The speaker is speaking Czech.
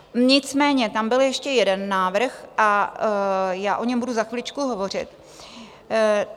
Nicméně tam byl ještě jeden návrh a já o něm budu za chviličku hovořit.